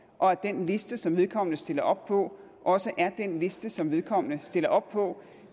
og at den liste som vedkommende stiller op på også er den liste som vedkommende stiller op på